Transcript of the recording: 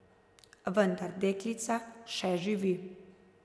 Vendar deklica še živi.